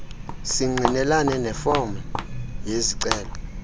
singqinelane nefom yezicelo